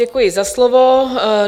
Děkuji za slovo.